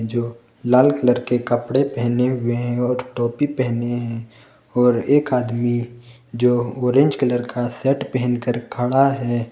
जो लाल कलर के कपड़े पहने हुए हैं और टोपी पहने है और एक आदमी जो ऑरेंज कलर शर्ट पहन कर खड़ा है।